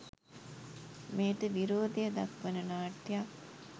මෙයට විරෝධය දක්වන නාට්‍යයක්